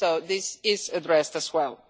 So this is addressed as well.